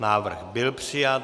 Návrh byl přijat.